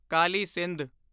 Kali Sindh